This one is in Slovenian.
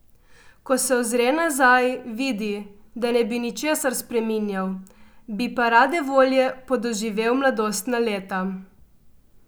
Ko se ozre nazaj, vidi, da ne bi ničesar spreminjal, bi pa rade volje podoživel mladostna leta.